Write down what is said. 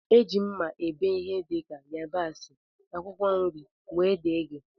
Eji mma ebe ihe dika yabasi, akwụkwọ nri wdg.